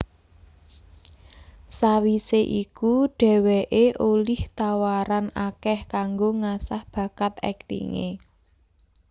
Sawisé iku dheweké olih tawaran akeh kanggo ngasah bakat aktingé